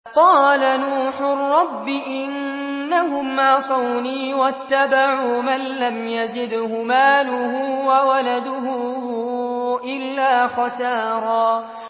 قَالَ نُوحٌ رَّبِّ إِنَّهُمْ عَصَوْنِي وَاتَّبَعُوا مَن لَّمْ يَزِدْهُ مَالُهُ وَوَلَدُهُ إِلَّا خَسَارًا